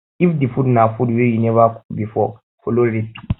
if di food na food wey you never cook before follow recepie